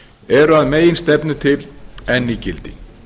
eru að meginstefnu til enn í gildi